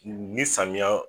Nin me samiyan.